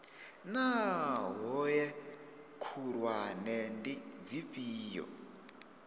naa hoea khulwane ndi dzifhio